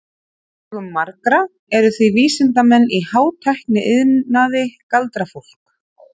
Í augum margra eru því vísindamenn í hátækniiðnaði galdrafólk.